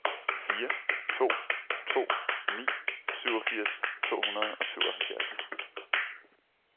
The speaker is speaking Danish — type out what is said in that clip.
fire to to ni syvogfirs to hundrede og syvoghalvfjerds